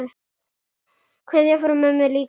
Kveðja frá mömmu líka mér.